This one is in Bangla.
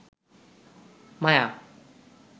মায়া